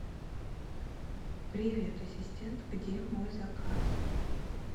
привет ассистент где мой заказ